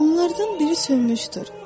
Onlardan biri sönmüşdür.